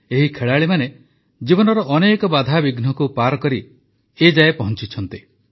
ଏହି ଖେଳାଳିମାନେ ଜୀବନର ଅନେକ ବାଧାବିଘ୍ନକୁ ପାର କରି ଏ ଯାଏ ପହଞ୍ଚିଛନ୍ତି